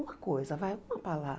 Uma coisa, vai, uma palavra.